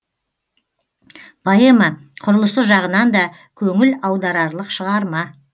поэма құрылысы жағынан да көңіл аударарлық шығарма